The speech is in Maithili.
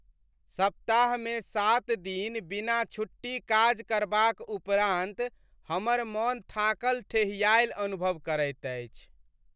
सप्ताहमे सात दिन बिना छुट्टी काज करबाक उपरान्त हमर मन थाकल ठेहियायल अनुभव करैत अछि।